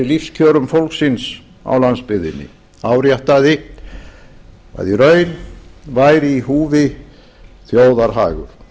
lífskjörum fólksins á landsbyggðinni áréttaði að í raun væri í húfi þjóðarhagur